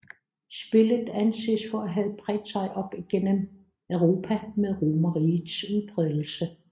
Spillet anses for at have bredt sig op gennem Europa med romerrigets udbredelse